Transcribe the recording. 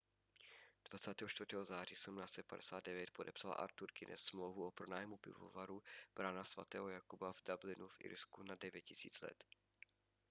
24. září 1759 podepsal artur guiness smlouvu o pronájmu pivovaru brána sv jakuba v dublinu v irsku na 9 000 let